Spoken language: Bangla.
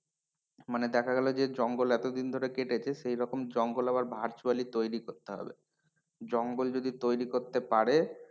মানে দেখা গেলো যে জঙ্গল এতদিন ধরে কেটেছে সেরকম জঙ্গল আবার virtually তৈরি করতে হবে জঙ্গল যদি তৈরি করতে পারে,